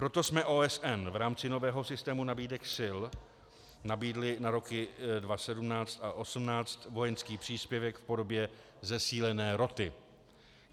Proto jsme OSN v rámci nového systému nabídek sil nabídli na roky 2017 a 2018 vojenský příspěvek v podobě zesílené roty.